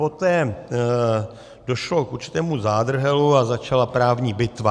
Poté došlo k určitému zádrhelu a začala právní bitva.